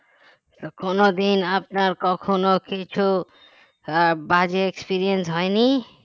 কোনদিন আপনার কখনো কিছু আহ বাজে experience হয়নি